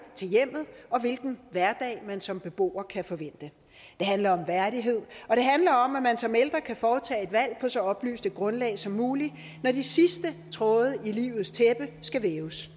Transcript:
til hjemmet og hvilken hverdag man som beboer kan forvente det handler om værdighed og om at man som ældre kan foretage et valg på så oplyst et grundlag som muligt når de sidste tråde i livets tæppe skal væves